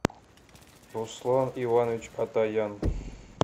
руслан иванович атаян